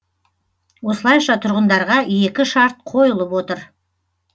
осылайша тұрғындарға екі шарт қойылып отыр